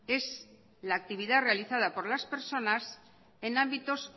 es la actividad realizada por las personas en ámbitos